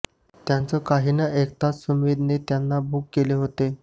त्यांचं काही न ऐकताच सुमेधने त्यांना बुक केलं होतं